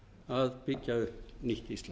að byggja upp nýtt ísland